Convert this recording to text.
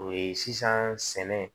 O ye sisan sɛnɛ